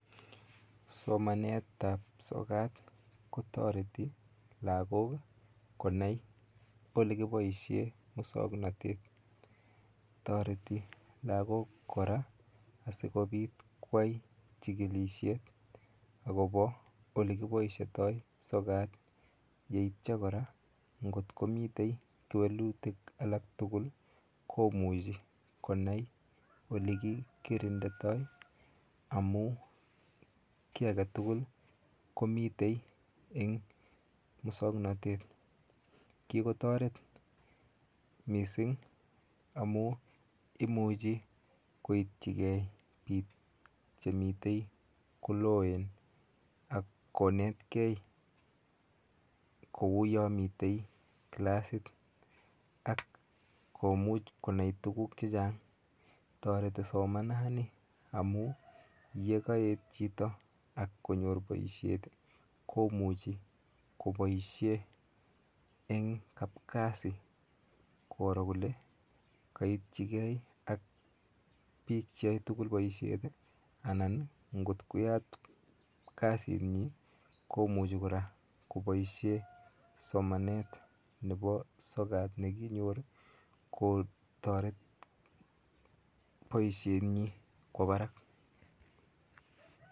Somanet ap sokat kotoreti lakok konai kole kiboishe musongnotet toreti lakok kora asikopit koyai chikilishet akopo olekipoishitoi sokat yeityo kora ngot komitei welutik alak tukul komuchei konai ole kikerinditoi amu kiy ake tukul komitei eng musongnotet kikotoret mising amu imuchi koitchikei piik chemitei koloen akonetkei kouyo mitei kilasit ak komuch konai tukuk che chang toreti somanani amu yekaet chito ak konyor boishet komuchei koboishe eng kap kasi koro kole kaitchikei ak piik cheyae tukul boishet anan ngotkoyat kasitnyi komuchi kora koboisie somanet nepo sokat kekinyor kotoret boisietnyi kwo barak